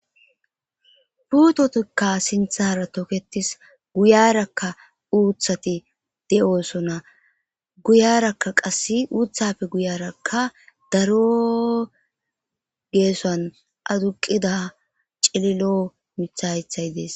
puutotikka sinthara toketis guyarakka uuthati de7osona guyarakka qasse uuthapfe guyarakka daro geesan aduqida cililoo mithayethay dees